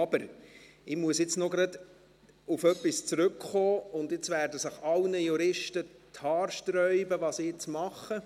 Ich muss aber jetzt noch auf etwas zurückkommen, und bei dem, was ich nun mache, werden sich allen Juristen die Haare sträuben: